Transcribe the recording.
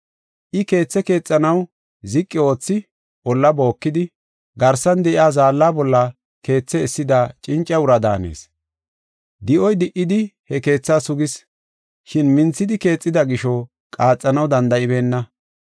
I keethe keexanaw ziqi oothi, olla bookidi, garsan de7iya zaalla bolla keethe essida cinca ura daanees. Di7oy di77idi he keetha sugis, shin minthidi keexida gisho, qaaxanaw danda7ibeenna.